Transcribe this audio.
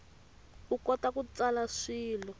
u kota ku tsala swilo